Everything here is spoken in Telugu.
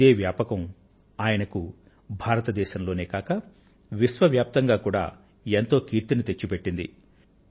ఇదే వ్యాపకం ఆయనకు భారతదేశంలోనే కాక విశ్వవ్యాప్తంగా కూడా ఎంతో కీర్తిని తెచ్చిపెట్టింది